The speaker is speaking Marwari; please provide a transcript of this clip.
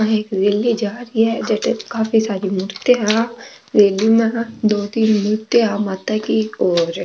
रैल्ली जारी है जठे काफी सारी मूर्तिया है दो तीन मूर्तियां है माता की और --